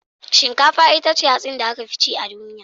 Shinkafa ita ce hatsi da aka fi cin a duniya